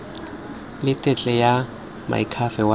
le tetla ya moakhaefe wa